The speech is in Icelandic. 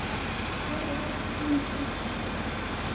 Ég verð þín frænka.